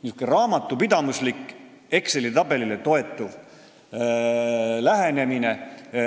Niisugune raamatupidamislik, Exceli tabelile toetuv lähenemine